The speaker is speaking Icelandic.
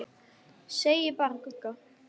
Segja bara Gugga.